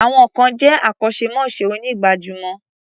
Some peple are professional barbers.